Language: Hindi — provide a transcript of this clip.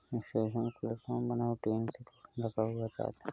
सामने प्लेटफार्म बना हुआ है ट्रैन लगा हुआ है।